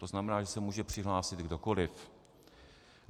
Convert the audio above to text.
To znamená, že se může přihlásit kdokoliv.